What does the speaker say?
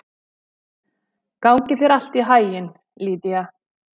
Gangi þér allt í haginn, Lýdía.